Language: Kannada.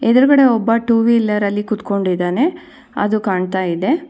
ಎದುರಗಡೆ ಒಬ್ಬ ಟೂ ವೀಲರ್ ಲ್ಲಿ ಕೂತ್ಕೊಂಡಿದಾನೆ ಅದು ಕಾಣ್ತಾ ಇದೆ.